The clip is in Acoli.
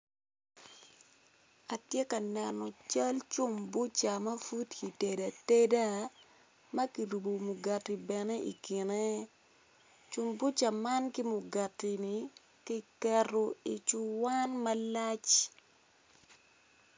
Atye ka neno cal cumbuca ma pud kitedo ateda, ma kirubo mugati bene i kine cumbuca man ki mugati-ni ki keto i cuwan malac.